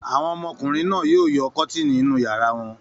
Àwọn ọmọkùnrin náà yóò yọ kọ́tíìnì inú ìyàrá wọn.